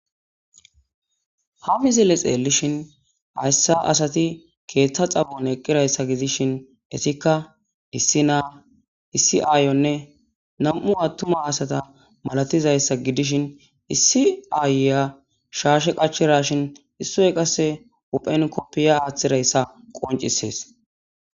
Ha mizille xeellishin hayssa asati keeththa xabon eqqirayssa gidishin etikka issi naa issi aayonne nam'u attuma asata malatizayssa gidishin issi aayeya shaashe qachirashin issoy qasse uphenkoppiya aaththirayssa qoncisees.